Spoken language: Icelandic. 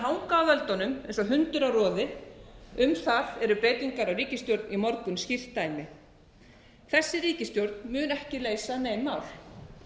hanga á völdunum eins og hundur á roði um það eru breytingar á ríkisstjórn í morgun skýrt dæmi þessi ríkisstjórn mun ekki leysa nein mál